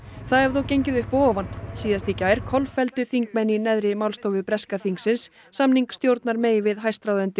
það hefur þó gengið upp og ofan síðast í gær kolfelldu þingmenn í neðri málstofu breska þingsins samning stjórnar May við hæstráðendur